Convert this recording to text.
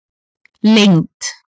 lengd